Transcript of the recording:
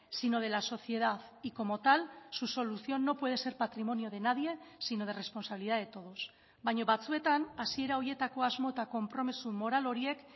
sino de la sociedad y como tal su solución no puede ser patrimonio de nadie sino de responsabilidad de todos baina batzuetan hasiera horietako asmo eta konpromiso moral horiek